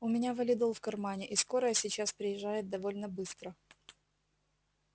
у меня валидол в кармане и скорая сейчас приезжает довольно быстро